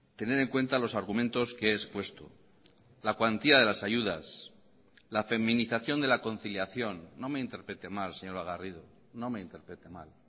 tener en cuenta los argumentos que he expuesto la cuantía de las ayudas la feminización de la conciliación no me interprete mal señora garrido no me interprete mal